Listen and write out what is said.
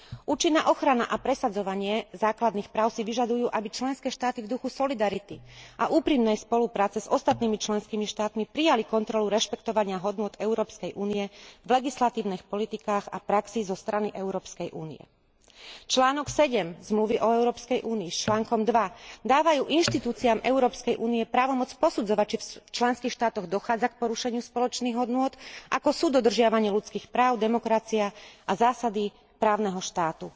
Účinná ochrana a presadzovanie základných práv si vyžadujú, aby členské štáty v duchu solidarity a úprimnej spolupráce s ostatnými členskými štátmi prijali kontrolu rešpektovania hodnôt Európskej únie v legislatívnych politikách a praxi zo strany Európskej únie. Článok 7 Zmluvy o Európskej únii s článkom 2 dávajú inštitúciám Európskej únie právomoc posudzovať, či v členských štátoch dochádza k porušeniu spoločných hodnôt, ako sú dodržiavanie ľudských práv, demokracia a zásady právneho štátu.